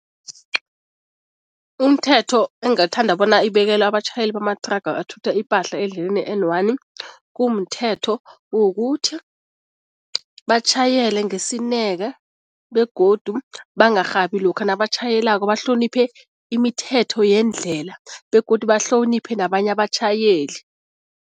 Umthetho engathanda bona ibekelwe abatjhayeli bamathraga athutha ipahla endleleni i-N one, kumthetho wokuthi batjhayele ngesineke begodu bangarhabi lokha nabatjhayelako, bahloniphe imithetho yendlela begodu bahloniphe nabanye abatjhayeli.